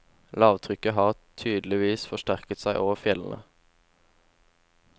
Lavtrykket har tydeligvis forsterket seg over fjellene.